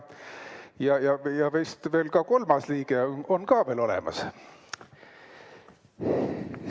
Ja vist veel ka kolmas liige on olemas.